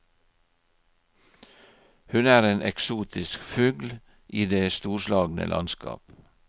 Hun er en eksotisk fugl i det storslagne landskap.